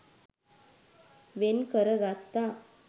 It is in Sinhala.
වෙන් කරගත්තා.